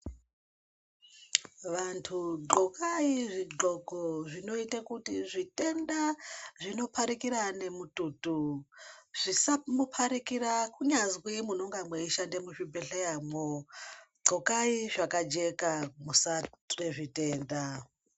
Vantu gonkai zvigonhko zvinoita kuti zvitenda zvinopandikira nemututu zvisamupatukira kunyazi munenge meishanda muzvibhedhleramwo gonkai zvakajeka musabatwa nezvitenda.